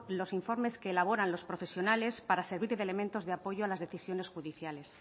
los informes que elaboran los profesionales para servir de elementos de apoyo a las decisiones judiciales